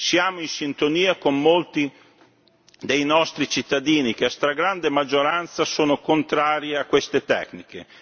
Siamo in sintonia con molti dei nostri cittadini, che a stragrande maggioranza sono contrari a queste tecniche.